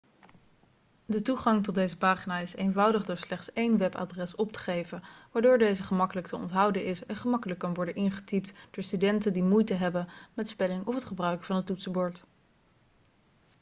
de toegang tot deze pagina is eenvoudig door slechts één webadres op te geven waardoor deze gemakkelijk te onthouden is en gemakkelijk kan worden ingetypt door studenten die moeite hebben met spelling of het gebruiken van een toetsenbord